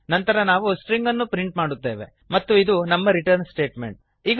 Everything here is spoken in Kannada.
ನಂತರ ನಾವು ಸ್ಟ್ರಿಂಗ್ ಅನ್ನು ಪ್ರಿಂಟ್ ಮಾಡುತ್ತೇವೆ ಮತ್ತು ಇದು ನಮ್ಮ ರಿಟರ್ನ್ ಸ್ಟೇಟ್ಮೆಂಟ್